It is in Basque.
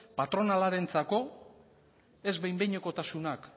patronalarentzako ez behin behinekotasunak